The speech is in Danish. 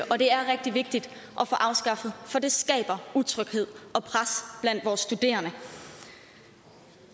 og det er rigtig vigtigt at få afskaffet for det skaber utryghed og pres blandt vores studerende